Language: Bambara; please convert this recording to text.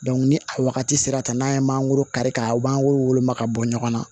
ni a wagati sera ka n'a ye mangoro kari ka u b'an wolo woloma ka bɔ ɲɔgɔn na